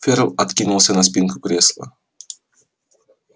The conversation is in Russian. ферл откинулся на спинку кресла